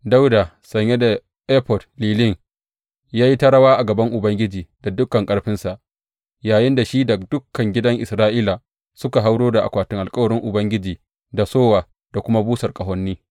Dawuda, sanye da efod lilin, ya yi ta rawa a gaban Ubangiji da dukan ƙarfinsa, yayinda shi da dukan gidan Isra’ila suka hauro da akwatin alkawarin Ubangiji da sowa da kuma busar ƙahoni.